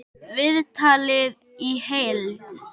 Viðtalið í heild